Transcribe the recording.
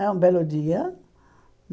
E um belo dia.